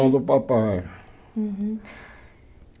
do papai. Uhum